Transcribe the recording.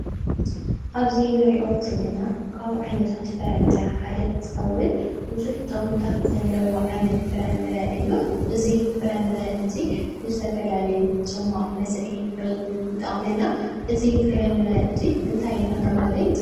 ኣብዚ እንሪኦ ዘለና ካብ ዓይነታት ፍረ-ምረ ሓደ እንትኸውን ብዙሕ ጠቅምታት ዘለዎ ዓይነት ፍረ-ምረ እዩ። እዚ ፍረ-ምረ እዙይ ንዝተፈላለዩ ፅማቅ መስሪሒ እውን ይጠቅመና። እዚ ፍረ-ምረ እዙይ እንታይ እንዳተባሀለ ይፅዋዕ?